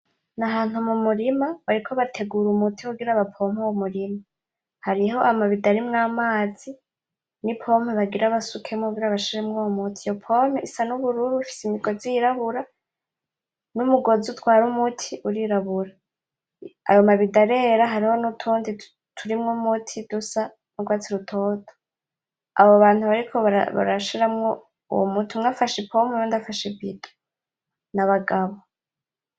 Nahantu mumurima bariko bategura umuti kugira bapompe uwo murima, hariho amabidon arimwo amazi ni pompe bagira basukemwo kugira bashiremwo uyo muti. Iyo pompe isa nubururu ifise numugozi yirabura, numugozi utwara uyo muti urirabura, ayo ma bidon arera hariho nutundi turimwo umuti dusa n'urwatsi rutoto. Abo bantu bariko barashiramwo uwo muti, umwe afashe ipompe uwundi afashe ibidon, nabagabo.